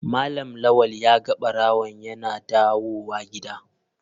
Malam lawal ya ga barawon yana dawowa gida.